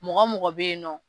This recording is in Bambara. Mɔgɔ mɔgɔ bɛ yen nɔ